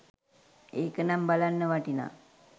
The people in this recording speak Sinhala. ඒක නම් බලන්න වටිනා